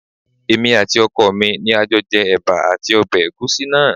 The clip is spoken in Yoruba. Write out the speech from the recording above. Èmi àti ọkọ mi ni a jọ jẹ ẹ̀bà àti ọbẹ̀ ẹ̀gúsí náà